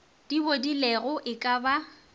di bodilego e ka ba